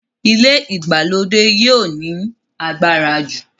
ilé ìgbàlódé yio ní agbára jù.